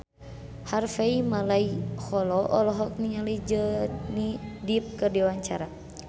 Harvey Malaiholo olohok ningali Johnny Depp keur diwawancara